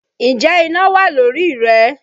Ǹjẹ́ iná wà lórí rẹ?